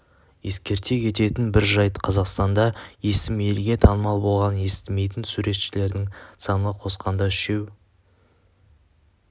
ескерте кететін бір жайт қазақстанда есімі елге танымал болған естімейтін суретшілердің саны қосқанда үшеу